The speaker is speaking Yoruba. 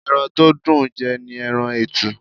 Ẹran to dùn ń jẹ́ ni ẹran etu.